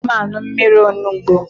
Agakwaghị m aṅụ mmiri onugbo.